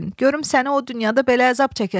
Görüm səni o dünyada belə əzab çəkəsən.